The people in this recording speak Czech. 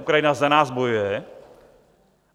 Ukrajina za nás bojuje.